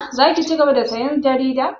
Za ki cigaba da sayan jarida?